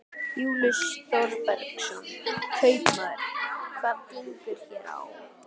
Júlíus Þorbergsson, kaupmaður: Hvað gengur hér á?